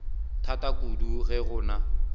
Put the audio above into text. thata kudu ge go na